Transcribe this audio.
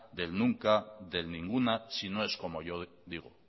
del nunca del ninguna si no es como yo digo